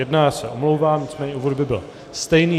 Já se omlouvám, nicméně úvod by byl stejný.